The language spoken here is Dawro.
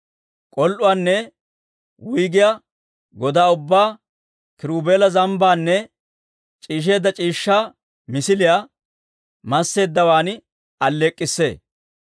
K'ol"uwaanne wuyggiyaa godaa ubbaa kiruubela, zambbaanne c'iishsheedda c'iishshaa misiliyaa masseeddawaan alleek'k'issee.